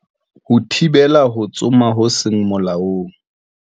Ho thibela ho tsoma ho seng molaong.